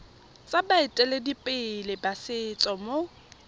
tsa baeteledipele ba setso mo